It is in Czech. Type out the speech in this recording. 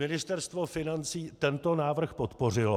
Ministerstvo financí tento návrh podpořilo.